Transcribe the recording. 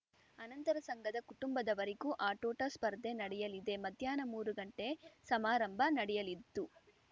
ಅನಂತರ ಸಂಘದ ಕುಟುಂಬದವರಿಗೂ ಆಟೋಟ ಸ್ಪರ್ಧೆ ನಡೆಯಲಿದೆ ಮಧ್ಯಾಹ್ನ ಮೂರು ಗಂಟೆ ಸಮಾರಂಭ ನಡೆಯಲಿತ್ತು